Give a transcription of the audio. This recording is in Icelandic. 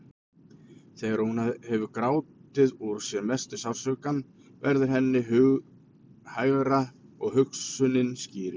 Þegar hún hefur grátið úr sér mesta sársaukann verður henni hughægra og hugsunin skýrist.